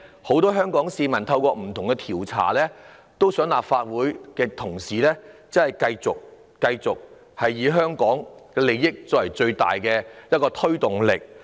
很多香港市民透過不同的調查表達意見，希望立法會的同事真的以香港的利益作為最大考慮。